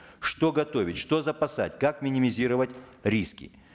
что готовить что запасать как минимизировать риски